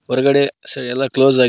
ಹೊರಗಡೆ ಸ ಎಲ್ಲಾ ಕ್ಲೋಸ್ ಆಗಿ--